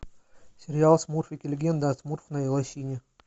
сериал смурфики легенда о смурфной лощине